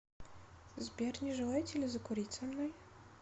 сбер не желаете ли закурить со мной